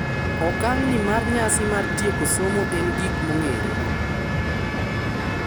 Okang` ni mar nyasi mar tieko somo en giko mong`ere.